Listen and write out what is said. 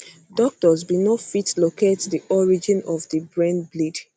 doctors bin no fit locate di origin of di brain bleed